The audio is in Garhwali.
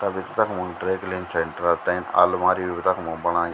तभि तखमो ड्राई क्लीन सेण्टर तैं आलमारी भी रखणु बणायीं।